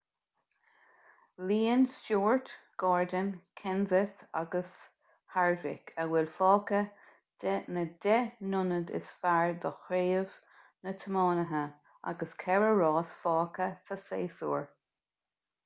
líonann stewart gordon kenseth agus harvick a bhfuil fágtha de na deich n-ionad is fearr do chraobh na dtiománaithe agus ceithre rás fágtha sa séasúr